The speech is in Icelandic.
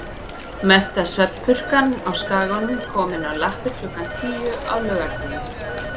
Mesta svefnpurkan á Skaganum komin á lappir klukkan tíu á laugardegi.